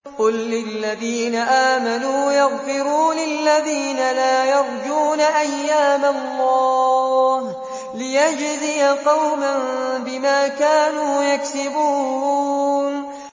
قُل لِّلَّذِينَ آمَنُوا يَغْفِرُوا لِلَّذِينَ لَا يَرْجُونَ أَيَّامَ اللَّهِ لِيَجْزِيَ قَوْمًا بِمَا كَانُوا يَكْسِبُونَ